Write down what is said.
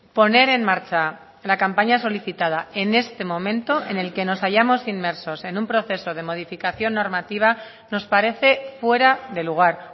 poner en marcha la campaña solicitada en este momento en el que nos hayamos inmersos en un proceso de modificación normativa nos parece fuera de lugar